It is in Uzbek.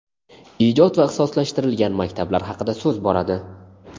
ijod va ixtisoslashtirilgan maktablar haqida so‘z boradi.